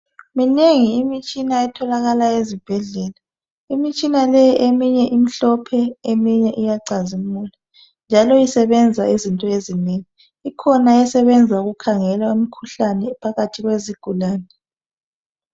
Minengi imitshina etholakala ezibhedlela imitshina le eminye imhlophe eminye iyacazimula. Njalo isebenza izinto ezinengi ikhona esebenza ukukhangela imikhuhlane phakathi kwezigulane.